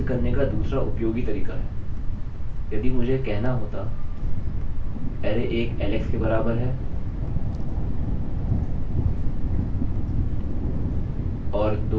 यह करने में काफी सरल है इसे करने का दूसरा उपयोगी तरीका है यदि मुझे कहना होता कि array one is equal to alex अरैarray एक alex के बराबर है और two is equal to billy दो billy के बराबर है